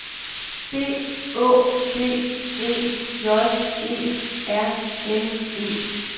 B Å D E J E R N E